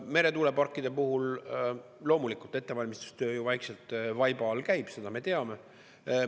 Meretuuleparkide puhul loomulikult ettevalmistustöö ju vaikselt vaiba all käib, seda me teame.